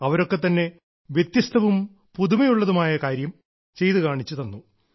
അവരൊക്കെ തന്നെ വ്യത്യസ്തവും പുതുമയുള്ളതും ആയ കാര്യം ചെയ്തു കാണിച്ചു തന്നു